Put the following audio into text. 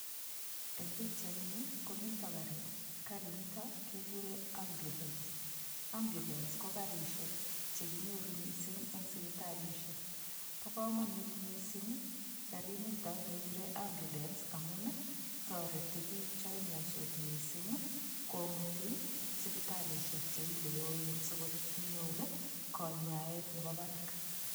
Eng' pikchaini komito karit karinito kekure ambulance ambulance ko karishek chekinyoru mising' eng' sipitalishek bo kamonut mising' karinito kekure ambulance amun toreti biik cho imiyonsot mising' komuti sipitalishek cheile yoen sikonyor konyaet nebo barak